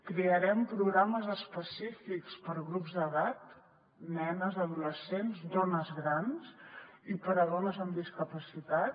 crearem programes específics per a grups d’edat nenes adolescents dones grans i per a dones amb discapacitat